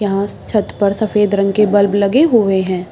यहाँ छत पर सफेद रंग के बल्ब लगे हुए हैं।